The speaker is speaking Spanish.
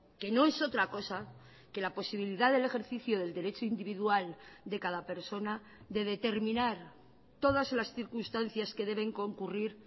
que no es otra cosa que la posibilidad del ejercicio del derecho individual de cada persona de determinar todas las circunstancias que deben concurrir